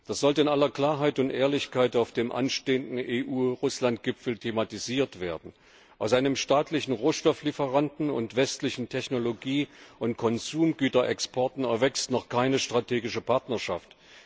Das sollte in aller Klarheit und Ehrlichkeit auf dem anstehenden EU Russland Gipfel thematisiert werden. Aus einem staatlichen Rohstofflieferanten und westlichem Technologie und Konsumgüterexport erwächst noch keine strategische Partnerschaft.